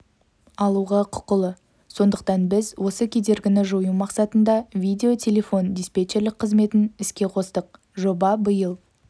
алуға құқылы сондықтан біз осы кедергіні жою мақсатында видео-телефон диспетчерлік қызметін іске қостық жоба биыл